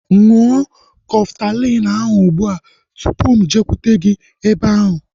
Ṅụọ Kọftalin ahu ụgbụa tụpụ mụ ejekwute gị ebe ahu